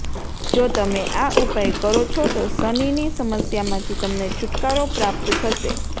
જો તમે આ ઉપાય કરો છો તો શનિની સમસ્યા માંથી તમને છુટકારો પ્રાપ્ત થશે